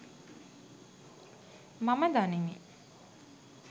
මම දනිමි.